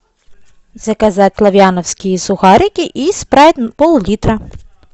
заказать лавяновские сухарики и спрайт пол литра